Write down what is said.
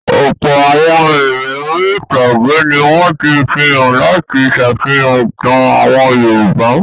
Ọ̀pọ̀ àwọn eré orí-ìtàgé ni wọ́n ti fi hàn láti ṣàfihàn ìtàn àwọn Yorùbá.